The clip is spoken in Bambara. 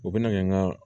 U bɛna kɛ n ka